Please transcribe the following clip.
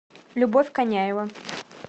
любовь коняева